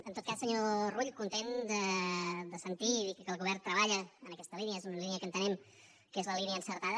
en tot cas senyor rull content de sentir dir que el govern treballa en aquesta línia és una línia que entenem que és la línia encertada